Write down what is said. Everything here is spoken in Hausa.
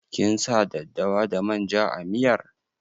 Kin sa daddawa da manja a miyar?